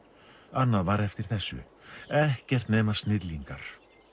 annað var eftir þessu ekkert nema snillingar